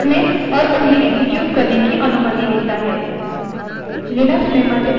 हमें operating system में execute निष्पादन करने के लिए commands enter करने की अनुमति देता है